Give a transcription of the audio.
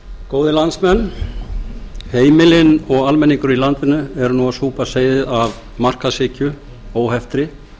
góðir landsmenn heimilin og almenningur í landinu eru nú að súpa leiðir af markaðshyggju óheftri